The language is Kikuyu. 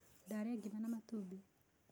Ndarĩa ngima na matumbĩ